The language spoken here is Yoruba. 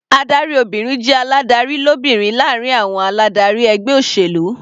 Adarí obìnrin jẹ́ aládarí lóbìnrin láàrin àwọn aládarí ẹgbẹ́ olóṣèlú.